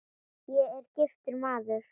Ég er: giftur maður.